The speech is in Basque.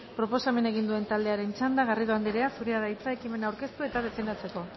proposamena egin duen taldearen txanda garrido andrea zurea da hitza ekimena aurkeztu eta defendatzeko